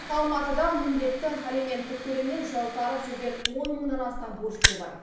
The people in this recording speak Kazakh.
алматыда міндетті алименттік төлемнен жалтарып жүрген он мыңнан астам борышкер бар